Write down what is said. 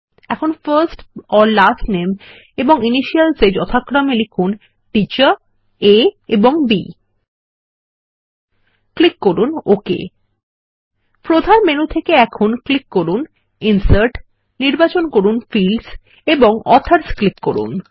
এখন firstলাস্ট নামে এবং ইনিশিয়ালস এ যথাক্রমে লিখুন টিচার আ এবং B ক্লিক করুন ওক প্রধান মেনু থেকে এখন ইনসার্ট ক্লিক করুন ফিল্ডস নির্বাচন করুন ও অথর ক্লিক করুন